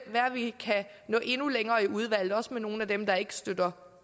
vi kan nå endnu længere i udvalget også sammen med nogle af dem der ikke støtter